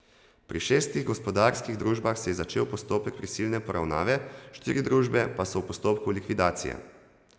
Pri šestih gospodarskih družbah se je začel postopek prisilne poravnave, štiri družbe pa so v postopku likvidacije.